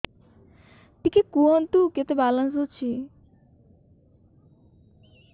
ଟିକେ କୁହନ୍ତୁ କେତେ ବାଲାନ୍ସ ଅଛି